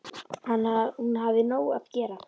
Að hún hafi nóg að gera.